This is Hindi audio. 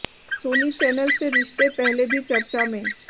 सोनी चैनल से रिश्ते पहले भी चर्चा में